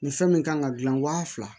Nin fɛn min kan ka gilan wa fila